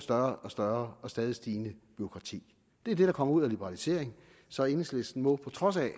større og større og stadig stigende bureaukrati det er det der kommer ud af liberalisering så enhedslisten må på trods af